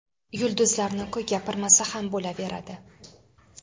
Yulduzlarni-ku gapirmasa ham bo‘laveradi.